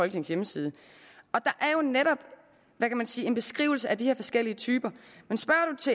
hjemmeside og der er netop en beskrivelse af de her forskellige typer